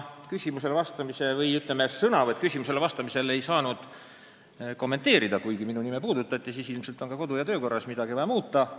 Küsimustele vastamisel ei saanud ma midagi kommenteerida, kuigi minu nime märgiti, nii arvangi, et ilmselt on meil vaja kodu- ja töökorda veidi muuta.